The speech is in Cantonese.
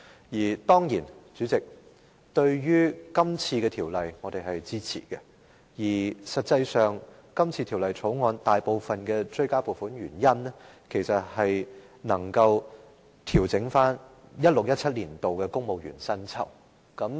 主席，我們當然會支持今天的《條例草案》，事實上，《條例草案》中提出的大部分追加撥款，其實也是為調整 2016-2017 年度的公務員薪酬。